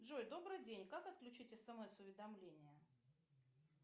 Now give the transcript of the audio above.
джой добрый день как отключить смс уведомления